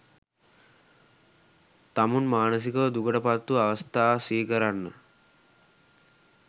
තමුන් මානසිකව දුකට පත්වූ අවස්ථා සිහිකරන්න.